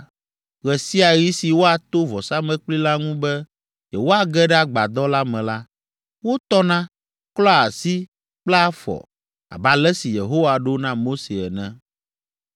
Ɣe sia ɣi si woato vɔsamlekpui la ŋu be yewoage ɖe agbadɔ la me la, wotɔna, klɔa asi kple afɔ, abe ale si Yehowa ɖo na Mose ene.